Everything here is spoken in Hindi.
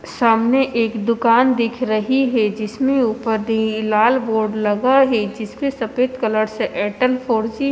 सामने एक दूकान दिख रही है जिसमे उपर भी लाल बोर्ड लगा है जिसपे सफेद कलर से एयरटेल फॉर जी --